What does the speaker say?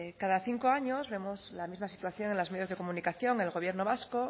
cada cinco años vemos la misma situación en los medios de comunicación el gobierno vasco